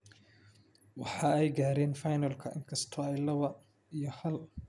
Waxa ay gaareen finalka inkastoo ay lawo iyo haal kaga badiyeen Nigeria.